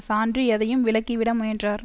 சான்று எதையும் விலக்கிவிட முயன்றார்